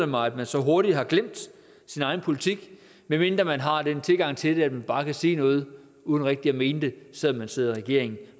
mig at man så hurtigt har glemt sin egen politik medmindre man har den tilgang til det at man bare kan sige noget uden rigtig at mene det selv om man sidder i regering